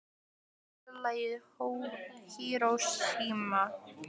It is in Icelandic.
Tommi, spilaðu lagið „Hiroshima“.